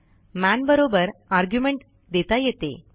manबरोबर argument देता येते